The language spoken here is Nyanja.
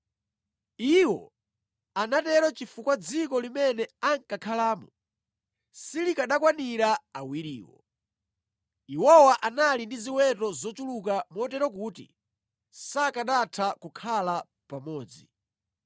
Iwo anatero chifukwa dziko limene ankakhalamo silikanakwanira awiriwo. Iwowa anali ndi ziweto zochuluka motero kuti sakanatha kukhala pamodzi.